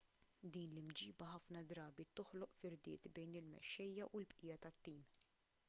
din l-imġiba ħafna drabi toħloq firdiet bejn il-mexxejja u l-bqija tat-tim